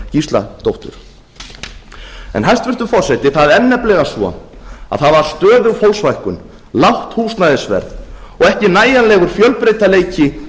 gísladóttur hæstvirtur forseti það er nefnilega svo að það var stöðug fólksfækkun lágt húsnæðisverð og ekki nægjanlegur fjölbreytileiki